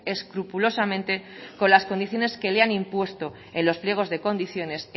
escrupulosamente con las condiciones que le han impuesto en los pliegos de condiciones